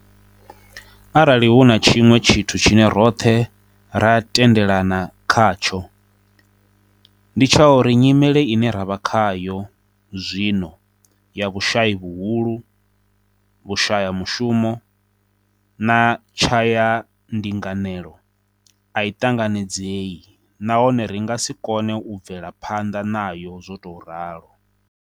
Arali hu na tshiṅwe tshithu tshine roṱhe ra tendelana kha tsho, ndi tsha uri nyimele ine ra vha khayo zwino - ya vhushayi vhuhulu, vhushayamushumo na tshayandinganelo - a i ṱanganedzei nahone ri nga si kone u bvela phanḓa nayo zwo tou ralo.